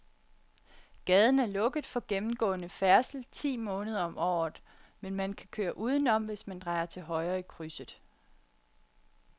Gaden er lukket for gennemgående færdsel ti måneder om året, men man kan køre udenom, hvis man drejer til højre i krydset.